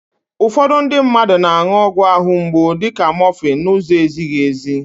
Ụfọdụ ndị mmadụ na-an̄ụ ọgwụ àhụ́ mgbu dịka mọfịn n'ụzọ ezighi èzí.